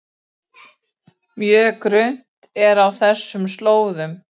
Mjög grunnt er á þessum slóðum